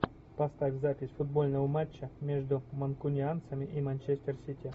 поставь запись футбольного матча между манкунианцами и манчестер сити